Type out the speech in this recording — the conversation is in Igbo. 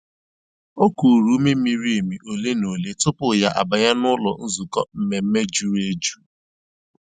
O kùrù ùmè mìrí èmì òlé na òlé tupu ya àbànyè n'ụ́lọ́ nzukọ́ mmèmme jùrù èjù.